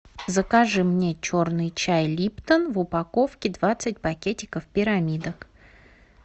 закажи мне черный чай липтон в упаковке двадцать пакетиков пирамидок